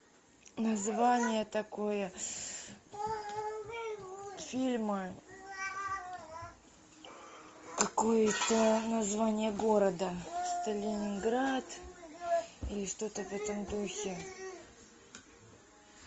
название такое фильма какое то название города сталинград или что то в этом духе